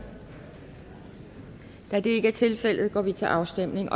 da det ikke er tilfældet går vi til afstemning